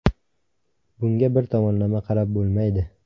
Bunga bir tomonlama qarab bo‘lmaydi.